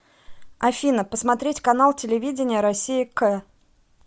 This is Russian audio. афина посмотреть канал телевидения россия к